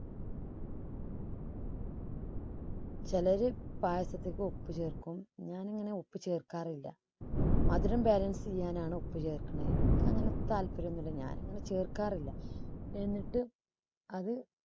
ചിലര് പായസത്തില് ഉപ്പ് ചേർക്കും ഞാൻ അങ്ങനെ ഉപ്പ് ചേർക്കാറില്ല. മധുരം ബാലൻസ് ചെയ്യാനാണ് ഉപ്പ് ചേർക്കുന്നത്. എനിക്കങ്ങനെ താല്പര്യന്നില്ല ഞാൻ അങ്ങനെ ചേർക്കാറില്ല. എന്നിട്ട് അത്